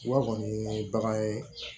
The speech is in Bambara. Wa kɔni ye bagan ye